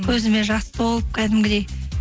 көзіме жас толып кәдімгідей